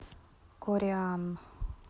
кореан